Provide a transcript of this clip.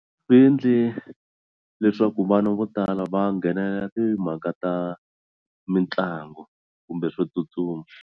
Swi endle leswaku vana vo tala va nghenelela timhaka ta mitlangu kumbe swo tsutsuma.